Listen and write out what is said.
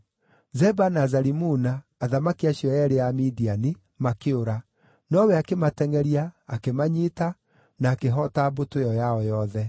Zeba na Zalimuna, athamaki acio eerĩ a Midiani, makĩũra, nowe akĩmatengʼeria, akĩmanyiita, na akĩhoota mbũtũ ĩyo yao yothe.